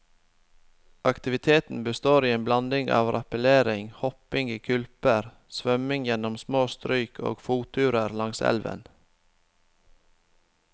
Aktiviteten består i en blanding av rappellering, hopping i kulper, svømming gjennom små stryk og fotturer langs elven.